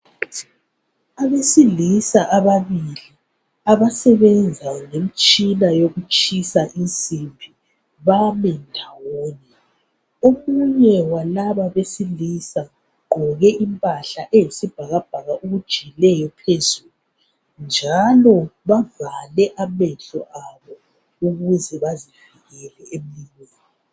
Abesilisa ababili, abasebenza ngemtshina yokutshisa insimbi, bami ndawonye. Omunye walaba abesilisa ugqoke impahla, eyisibhakaibhaka okujiyileyo phezulu, njalo bavale amehlo abo, ukuze bazivikele .